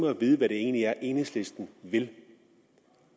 at vide hvad det egentlig er enhedslisten vil